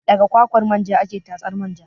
Daga kwakwar manja ake tatsar manja